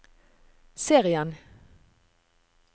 serien